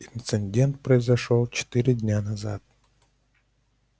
инцидент произошёл четыре дня назад